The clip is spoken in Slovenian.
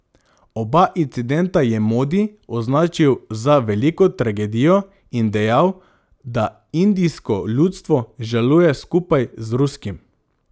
Oba incidenta je Modi označil za veliko tragedijo in dejal, da indijsko ljudstvo žaluje skupaj z ruskim.